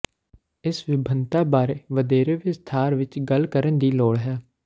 ਇਸ ਵਿਭਿੰਨਤਾ ਬਾਰੇ ਵਧੇਰੇ ਵਿਸਥਾਰ ਵਿੱਚ ਗੱਲ ਕਰਨ ਦੀ ਲੋੜ ਹੈ